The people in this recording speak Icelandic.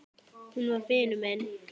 Hún var vinur minn.